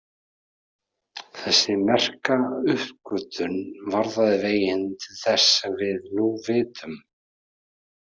Þessi merka uppgötvun varðaði veginn til þess sem við nú vitum.